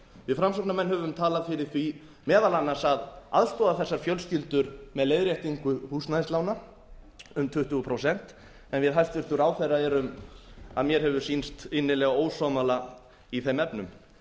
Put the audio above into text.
við framsóknarmenn höfum talað fyrir því meðal annars að aðstoða þessar fjölskyldur með leiðréttingu húsnæðislána um tuttugu prósent en við hæstvirtan ráðherra erum að mér hefur sýnst innilega ósammála i þeim efnum